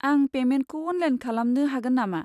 आं पेमेन्टखौ अनलाइन खालामनो हागोन नामा?